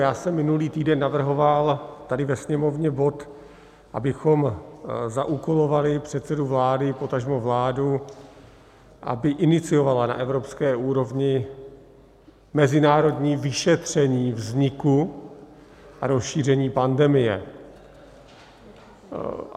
Já jsem minulý týden navrhoval tady ve sněmovně bod, abychom zaúkolovali předsedu vlády, potažmo vládu, aby iniciovala na evropské úrovni mezinárodní vyšetření vzniku a rozšíření pandemie.